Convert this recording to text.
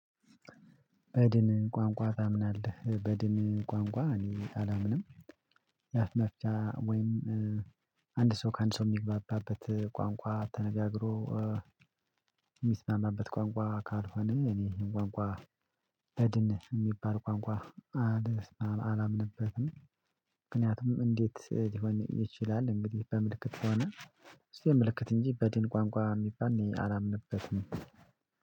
በድን ቋንቋ ታምናለህ በድን ቋንቋ እኔ አላምንም የአፍ መፍቻ ወይም አንድ ሰው ከአንድ ሰው የሚግባባበት ቋንቋ ተነጋግሮ የሚስማማበት ቋንቋ ካልሆነ እኔ ቋንቋ በድን የሚባል ቋንቋ አላምንበትም ምክንያቱም እንዴት ሊሆን ይችላል? እንግዲህ በምልክት ከሆነ እሱ የምልክት እንጂ በድን ቋንቋ የሚባል እኔ አላምንበትም